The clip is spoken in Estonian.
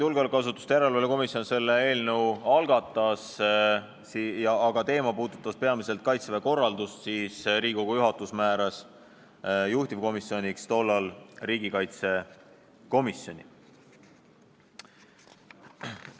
Julgeolekuasutuste järelevalve erikomisjon selle eelnõu küll algatas, aga kuna see teema puudutas peamiselt Kaitseväe korraldust, siis Riigikogu juhatus määras tollal juhtivkomisjoniks riigikaitsekomisjoni.